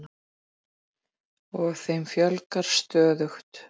Og þeim fjölgar stöðugt.